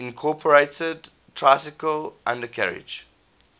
incorporated tricycle undercarriage